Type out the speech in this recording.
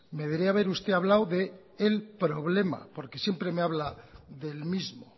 me debería usted hablado de el problema porque siempre me habla del mismo